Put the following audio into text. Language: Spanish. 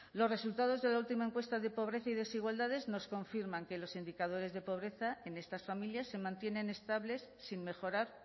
los resultados de la última encuesta de pobreza y desigualdades nos confirman que los indicadores de pobreza en estas familias se mantienen estables sin mejorar